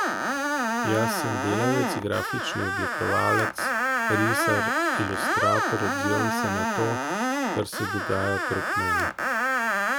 Jaz sem delavec, grafični oblikovalec, risar, ilustrator, odzivam se na to, kar se dogaja okrog mene.